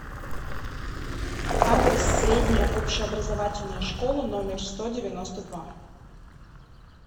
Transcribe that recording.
адрес средняя общеобразовательная школа номер сто девяносто два